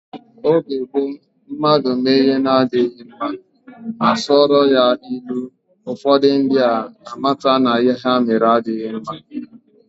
N'oge gboo mmadụ mee ihe na-adịghi mma, a sụọla ya ilu, ụfọdụ ndị a mata na ihe ha mere adịghị mma.